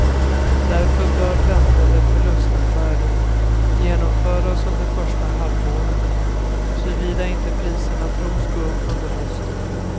Därför bör väntade förlustaffärer genomföras under första halvåret, såvida inte priserna tros gå upp under hösten.